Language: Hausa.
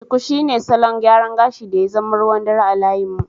Shuku shine salon gyaran gashi da ya zama ruwan dare a layin mu.